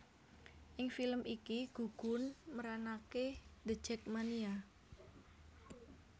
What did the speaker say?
Ing film iki gugun meranaké The Jakmania